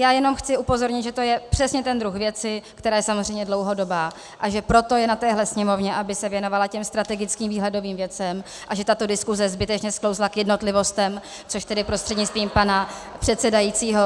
Já jenom chci upozornit, že to je přesně ten druh věci, která je samozřejmě dlouhodobá, a že proto je na téhle Sněmovně, aby se věnovala těm strategickým výhledovým věcem, a že tato diskuse zbytečně sklouzla k jednotlivostem, což tedy prostřednictvím pana předsedajícího